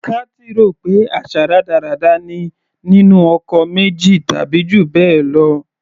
Kathy rò pé àṣà rádaràda ni nínú ọkọ méjì tàbí jù bẹ́ẹ̀ lọ.